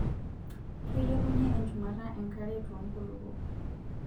Keilepunyie enchumata enkare toonkulupuok.